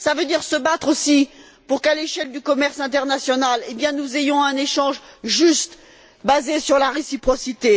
cela implique de se battre aussi pour qu'à l'échelle du commerce international, nous ayons un échange juste, basé sur la réciprocité.